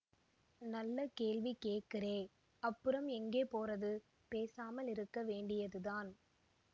நல்ல கேள்வி கேக்கறே அப்புறம் எங்கே போறது பேசாமல் இருக்க வேண்டியதுதான்